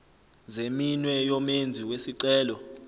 zeminwe yomenzi wesicelo